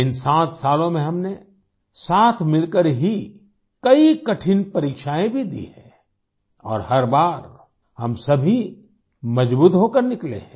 इन 7 सालों में हमने साथ मिलकर ही कई कठिन परीक्षाएँ भी दी हैं और हर बार हम सभी मज़बूत होकर निकले हैं